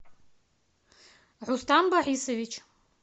рустам борисович